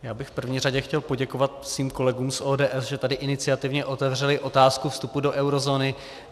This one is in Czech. Já bych v první řadě chtěl poděkovat svým kolegům z ODS, že tady iniciativně otevřeli otázku vstupu do eurozóny.